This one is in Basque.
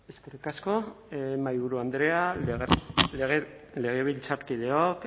eskerrik asko mahaiburu andrea legebiltzarkideok